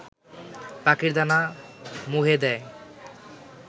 পাখির দানা মুহে দেয়